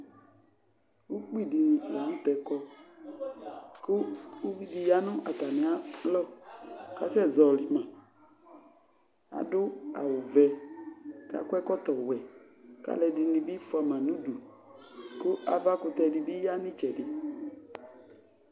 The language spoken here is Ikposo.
Ukpi dɩnɩ la nʋ tɛ kɔ, kʋ uvi dɩ ya nʋ atamɩ alɔ kʋ asɛzɔɣɔlɩ ma Adʋ awʋ vɛ kʋ akɔ ɛkɔtɔ wɛ, kʋ alʋ ɛdɩnɩ bɩ fʋa ma nʋ udu, kʋ avakʋtɛ dɩ bɩ ya nʋ ɩtsɛdɩ